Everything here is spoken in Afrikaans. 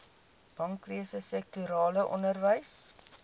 bankwese sektorale onderwys